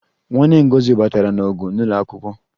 Nwanne Ngozi batara n'ọgụ n'ụlọ akwụkwọ